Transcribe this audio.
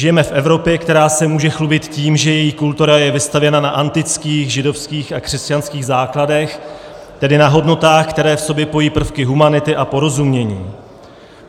Žijeme v Evropě, která se může chlubit tím, že její kultura je vystavěna na antických, židovských a křesťanských základech, tedy na hodnotách, které v sobě pojí prvky humanity a porozumění.